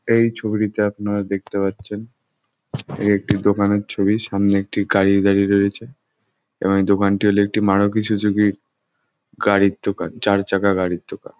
এই ছবিটিতে আপনারা দেখতে পাচ্ছেন একটি দোকানের ছবি। সামনে একটি গাড়ি দাঁড়িয়ে রয়েছে এবং এই দোকানটি হলো একটি মারুতি সুজুকির গাড়ির দোকান। চার চাকা গাড়ির দোকান।